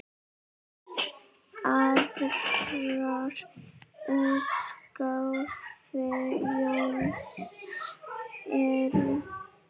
Aðrar útgáfur Jóhanns eru